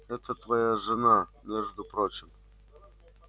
это твоя жена между прочим